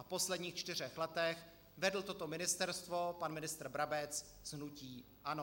A v posledních čtyřech letech vedl toto ministerstvo pan ministr Brabec z hnutí ANO.